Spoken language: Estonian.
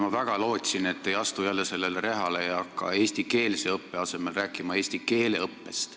Ma väga lootsin, et te ei astu jälle selle reha otsa ega hakka eestikeelse õppe asemel rääkima eesti keele õppest.